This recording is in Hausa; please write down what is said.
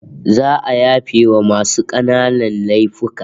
Za'a yafewa masu kananan laifuka